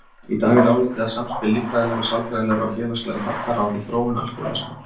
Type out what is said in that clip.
Í dag er álitið að samspil líffræðilegra, sálfræðilegra og félagslegra þátta ráði þróun alkóhólisma.